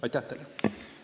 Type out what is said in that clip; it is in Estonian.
Aitäh teile!